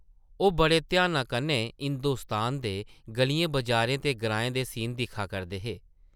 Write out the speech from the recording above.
ओह् बड़े ध्याना कन्नै हिंदोस्तान दे गʼलियें-बजारें ते ग्राएं दे सीन दिक्खा करदे हे ।